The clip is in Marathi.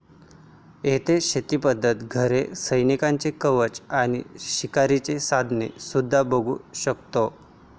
येथे शेतीपद्धती, घरे, सैनिकांचे कवच आणि शिकारीची साधने सुद्धा बघू शकतो.